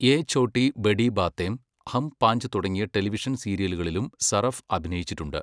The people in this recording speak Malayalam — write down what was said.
യേ ഛോട്ടി ബഡി ബാതേം, ഹം പാഞ്ച് തുടങ്ങിയ ടെലിവിഷൻ സീരിയലുകളിലും സറഫ് അഭിനയിച്ചിട്ടുണ്ട്.